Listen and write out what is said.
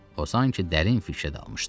O sanki dərin fikrə dalmışdı.